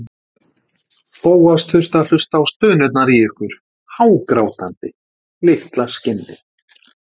Bóas þurfti að hlusta á stunurnar í ykkur, hágrátandi, litla skinnið!